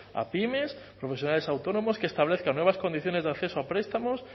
a pymes profesionales autónomos que establezcan nuevas condiciones de acceso a prestamos